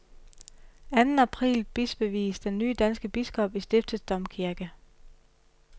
Anden april bispevies den nye danske biskop i stiftets domkirke.